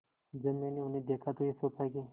जब मैंने उन्हें देखा तो ये सोचा कि